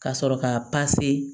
Ka sɔrɔ ka